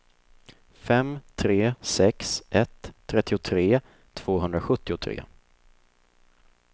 fem tre sex ett trettiotre tvåhundrasjuttiotre